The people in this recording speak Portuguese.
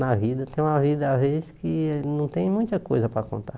Na vida, tem uma vida às vezes que não tem muita coisa para contar.